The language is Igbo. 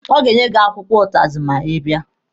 Ọ ga-enye gị akwụkwọ ụtazị ma ị bịa.